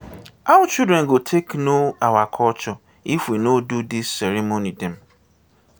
how children go take know our culture if we no do dis ceremony dem.